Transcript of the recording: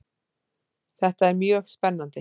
Þetta er mjög spennandi